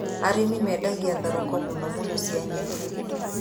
Arĩmi mendagia thoroko mũno mũno ci nyeni.